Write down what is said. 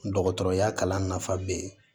Dɔgɔtɔrɔya kalan nafa be yen